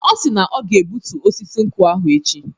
Ọ si na ọ ga-egbutu osisi nkwụ ahụ echi.